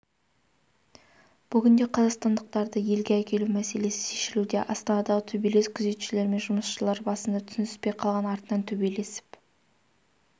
бүгінде қазақстандықтарды елге әкелу мәселесі шешілуде астанадағы төбелес күзетшілер мен жұмысшылар басында түсініспей қалған артынан төбелесіп